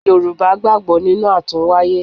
Yorùbá gbàgbọ́ nínú àtúnwáyé.